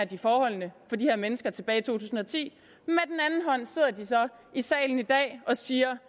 forholdene for de her mennesker tilbage tusind og ti og i salen i dag og siger